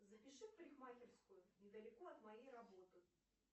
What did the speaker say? запиши в парикмахерскую недалеко от моей работы